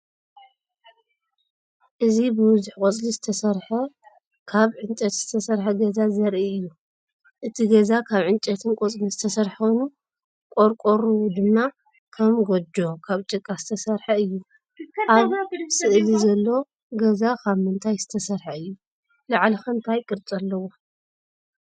እዚ ብብዙሕ ቆጽሊ ዝተሰርሐ ካብ ዕንጨይቲ ዝተሰርሐ ገዛ ዘርኢ እዩ። እቲ ገዛ ካብ ዕንጨይትን ቆጽልን ዝተሰርሐ ኮይኑ፡ ቆርቆሩ ድማ ከም ጎጆ ካብ ጭቃ ዝተሰርሐ እዩ። ኣብ ስእሊ ዘሎ ገዛ ካብ ምንታይ ዝተሰርሐ እዩ? ላዕሉ ከ እንታይ ቅርጺ ኣለዎ?